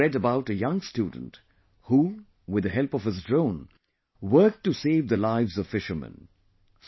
I have also read about a young student who, with the help of his drone, worked to save the lives of fishermen